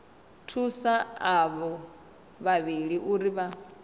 thusa avho vhavhili uri vha